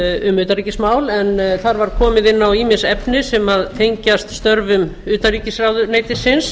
um utanríkismál þar var komið inn á ýmis efni sem tengjast störfum utanríkisráðuneytisins